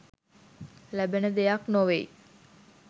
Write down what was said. ලැබෙන දෙයක් නොවෙයි.